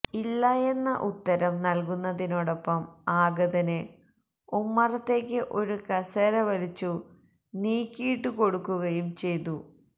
ഇല്ലയെന്ന ഉത്തരം നൽകുന്നതിനോടൊപ്പം ആഗതന് ഉമ്മറത്തേക്ക് ഒരു കസേര വലിച്ചു നീക്കിയിട്ടുകൊടുക്കുകയും ചെയ്തു